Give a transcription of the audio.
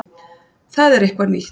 Það er eitthvað nýtt.